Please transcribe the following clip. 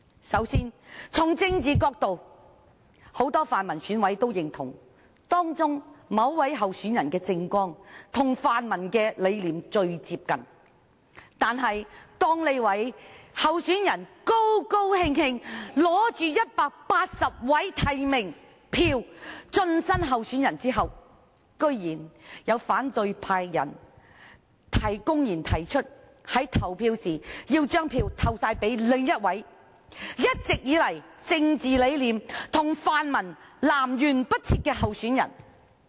首先，從政治的角度而言，很多泛民選委也認同，某位候選人的政綱跟泛民的理念最接近，但當這位候選人興高采烈持着180張提名票進身特首選舉後，居然有反對派選委公然表示，要將所有票投給另一名政治理念一直跟泛民南轅北轍的候選人。